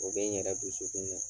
O bɛ n yɛrɛ dusukun